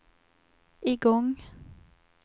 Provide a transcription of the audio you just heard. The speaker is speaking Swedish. igång